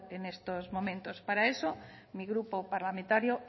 en estos momentos para eso mi grupo parlamentario